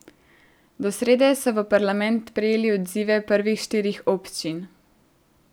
Do srede so v parlament prejeli odzive prvih štirih občin.